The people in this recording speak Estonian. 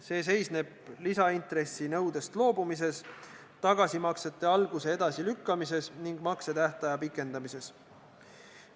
See seisneb lisaintressi nõudest loobumises, tagasimaksete alguse edasilükkamises ning maksetähtaja pikendamises.